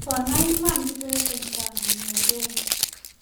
konai iman kibet eng sang inegei